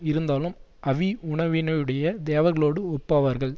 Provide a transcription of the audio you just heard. இருந்தாலும் அவி உணவினையுடைய தேவர்களோடு ஒப்பாவார்கள்